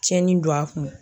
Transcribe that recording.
Tiɲɛni don a kun.